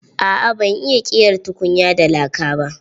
Aa ban iya ƙera tukunya da laka ba.